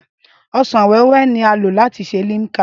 Ọsàn wẹ́wẹ́ ni a lò láti ṣe Limca